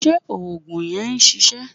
Ṣé òògùn yẹn ṣiṣẹ́?